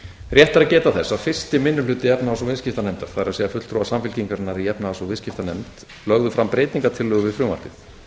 rétt er að geta þess að fyrsti minni hluti efnahags ég viðskiptanefndar það er fulltrúar samfylkingarinnar í efnahags og viðskiptanefnd lögðu fram breytingartillögur við frumvarpið